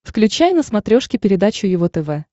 включай на смотрешке передачу его тв